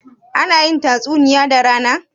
ana yin tatsuniya da rana?